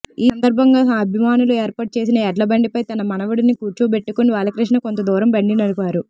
ఈసందర్భంగా అభిమానులు ఏర్పాటు చేసిన ఎడ్లబండిపై తన మనవడిని కూర్చోపెట్టుకుని బాలకృష్ణ కొంతదూరం బండి నడిపారు